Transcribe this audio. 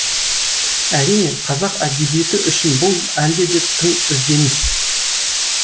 әрине қазақ әдебиеті үшін бұл әлде де тың ізденіс